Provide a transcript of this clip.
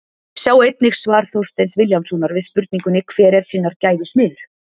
Sjá einnig svar Þorsteins Vilhjálmssonar við spurningunni Hver er sinnar gæfu smiður?